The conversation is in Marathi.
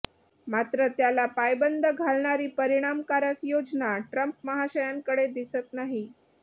मात्र त्याला पायबंद घालणारी परिणामकारक योजना ट्रम्प महाशयांकडे दिसत नाही